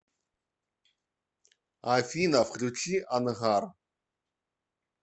афина включи ангар